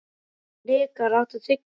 Hnikar, áttu tyggjó?